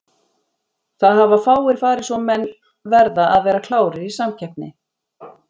Það hafa fáir farið svo menn verða að vera klárir í samkeppni.